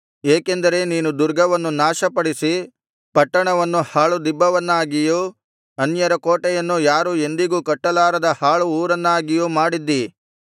ಏಕೆಂದರೆ ನೀನು ದುರ್ಗವನ್ನು ನಾಶಪಡಿಸಿ ಪಟ್ಟಣವನ್ನು ಹಾಳು ದಿಬ್ಬವನ್ನಾಗಿಯೂ ಅನ್ಯರ ಕೋಟೆಯನ್ನು ಯಾರೂ ಎಂದಿಗೂ ಕಟ್ಟಲಾರದ ಹಾಳು ಊರನ್ನಾಗಿಯೂ ಮಾಡಿದ್ದಿ